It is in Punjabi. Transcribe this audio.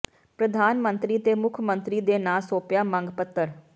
ਪ੍ਰਧਾਨ ਮੰਤਰੀ ਤੇ ਮੁੱਖ ਮੰਤਰੀ ਦੇ ਨਾਂ ਸੌਂਪਿਆ ਮੰਗ ਪੱਤਰ